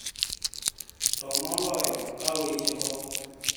To moloyo, ka wechego